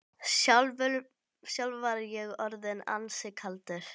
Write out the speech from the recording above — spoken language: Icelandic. Sjálfur var ég orðinn ansi kaldur.